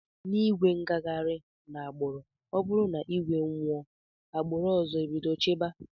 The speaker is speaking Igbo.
Na igwe igaghari na agburu ọburu na igwe anwụọ agburu ọzọ ebido chiba.